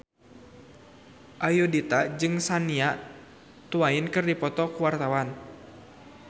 Ayudhita jeung Shania Twain keur dipoto ku wartawan